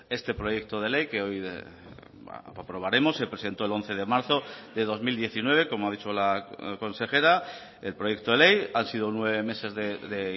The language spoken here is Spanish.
este proyecto de ley que hoy aprobaremos se presentó el once de marzo de dos mil diecinueve como ha dicho la consejera el proyecto de ley han sido nueve meses de